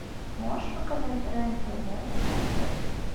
можешь показать рен тв на смотрешке